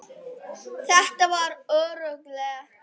Þetta var óralöng ferð.